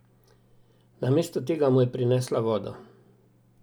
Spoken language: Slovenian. Namesto tega mu je prinesla vodo.